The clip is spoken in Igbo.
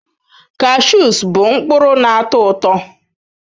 Cashews bụ mkpụrụ na-atọ ụtọ.